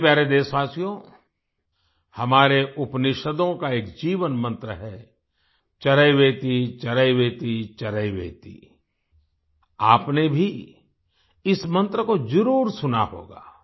मेरे प्यारे देशवासियो हमारे उपनिषदों का एक जीवन मन्त्र है चरैवेतिचरैवेतिचरैवेति आपने भी इस मन्त्र को जरुर सुना होगा